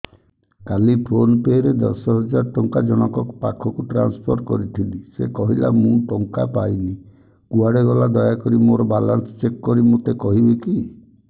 କାଲି PhonePe ରେ ଦଶ ହଜାର ଟଙ୍କା ଜଣକ ପାଖକୁ ଟ୍ରାନ୍ସଫର୍ କରିଥିଲି ସେ କହିଲା ମୁଁ ଟଙ୍କା ପାଇନି କୁଆଡେ ଗଲା ଦୟାକରି ମୋର ବାଲାନ୍ସ ଚେକ୍ କରି ମୋତେ କହିବେ କି